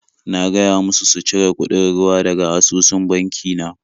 Na gaya musu su cire kuɗin ruwa daga asusun banki na.